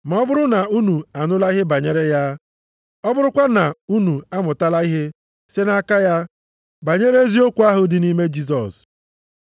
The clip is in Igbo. ma ọ bụrụ na unu anụla ihe banyere ya, ọ bụrụkwa na unu amụtala ihe site nʼaka ya banyere eziokwu ahụ dị nʼime Jisọs.